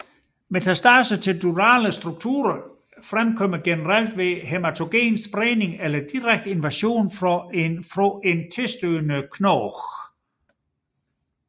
Metastase til durale strukturer forekommer generelt ved hæmatogen spredning eller direkte invasion fra en tilstødende knogle